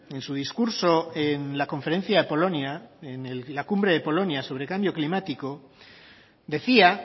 en su discurso en la conferencia de polonia en la cumbre de polonia sobre cambio climático decía